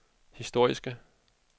historiske